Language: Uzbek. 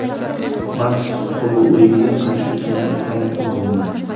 Maks Holloueyga qarshi jangim ham muhim bo‘lgan.